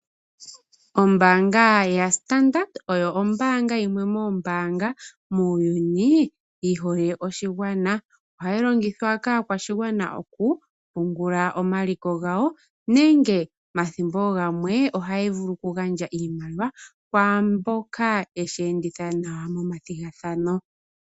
Ombaanga yaStandard oyo ombaanga yimwe muuyuni yihole aakwashigwana. Ohayi longithwa kaakwashigwana okupungula omaliko gawo nenge omathimbo gamwe ohaya vulu okugandja oshimaliwa kwaamboka yeshi enditha nawa momathigathano.